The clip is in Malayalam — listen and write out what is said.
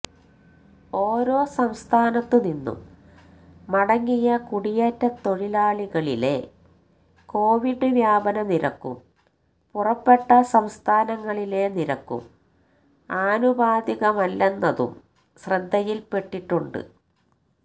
ഓരോ സംസ്ഥാനത്തുനിന്നും മടങ്ങിയ കുടിയേറ്റത്തൊഴിലാളികളിലെ കൊവിഡ് വ്യാപന നിരക്കും പുറപ്പെട്ട സംസ്ഥാനങ്ങളിലെ നിരക്കും ആനുപാതികമല്ലെന്നതും ശ്രദ്ധയില്പെട്ടിട്ടുണ്ട്